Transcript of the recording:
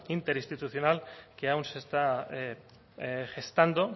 interistitucional que aún se está gestando